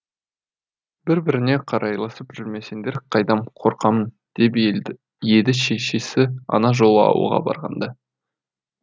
бір біріңе қарайласып жүрмесеңдер қайдам қорқамын деп еді шешесі ана жолы ауылға барғанда